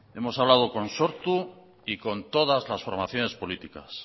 hemos hablado con sortu y con todas las formaciones políticas